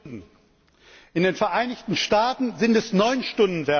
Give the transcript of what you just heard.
In den Vereinigten Staaten sind es neun Stunden während der Nacht.